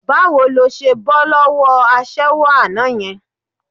Báwo ló ṣe bọ́ lọ́wọ́ aṣẹ́wó àná yẹn?